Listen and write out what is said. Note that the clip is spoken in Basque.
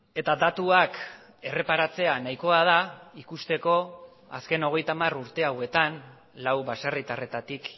eta datuak erreparatzea nahikoa da ikusteko azken hogeita hamar urte hauetan lau baserritarretatik